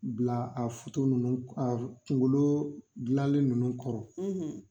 Bila a ninnu a kunkolo gilanlen ninnu kɔrɔ